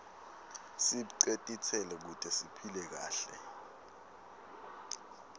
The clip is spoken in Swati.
sibce titselo kute siphile kahle